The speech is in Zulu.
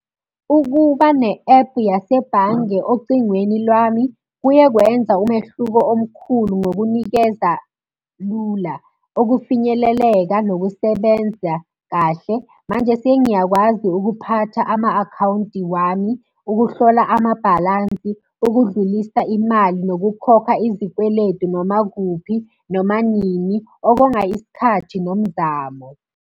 Ukuba ne-ephu yasebhange ocingweni lwami, kuye kwenza umehluko omkhulu ngokunikeza lula, ukufinyeleleka, nokusebenza kahle. Manje sengiyakwazi ukuphatha ama-akhawunti wami, ukuhlola amabhalansi, ukudlulisa imali, nokukhokha izikweletu noma kuphi, noma nini, okonga isikhathi nomzamo.